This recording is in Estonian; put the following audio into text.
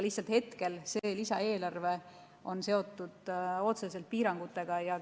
Lihtsalt see lisaeelarve on seotud otseselt piirangutega.